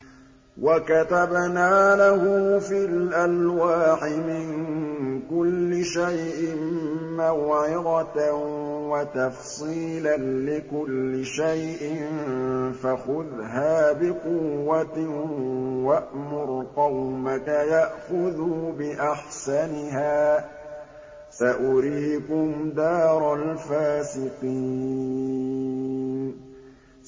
وَكَتَبْنَا لَهُ فِي الْأَلْوَاحِ مِن كُلِّ شَيْءٍ مَّوْعِظَةً وَتَفْصِيلًا لِّكُلِّ شَيْءٍ فَخُذْهَا بِقُوَّةٍ وَأْمُرْ قَوْمَكَ يَأْخُذُوا بِأَحْسَنِهَا ۚ سَأُرِيكُمْ دَارَ الْفَاسِقِينَ